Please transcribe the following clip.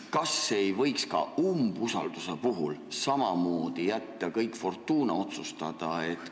Kas ei võiks ka umbusalduse avaldamise puhul samamoodi jätta kõik fortuuna otsustada?